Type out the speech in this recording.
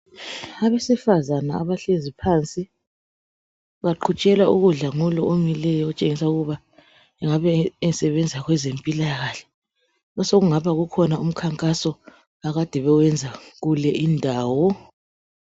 Abesifazana abahlezi phansi baqhutshelwa ukudla ngulo omileyo okutshengisa ukuba engabe esebenza kwezempilakahle osokungaba kukhona umkhankaso akade bewenza kule indawo.